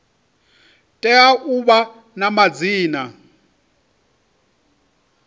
tea u vha na madzina